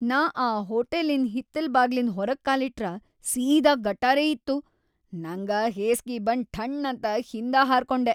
ನಾ ಆ ಹೋಟಲಿನ್‌ ಹಿತ್ತಲ್‌ ಬಾಗ್ಲಿಂದ್ ಹೊರಗ್‌ ಕಾಲಿಟ್ರ ಸೀದಾ ಗಟಾರೇ ಇತ್ತು, ನಂಗ ಹೇಸ್ಗಿ ಬಂದ್‌ ಠಣ್ಣಂತ ಹಿಂದ ಹಾರಕೊಂಡೆ.